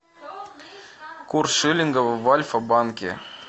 курс шиллинга в альфа банке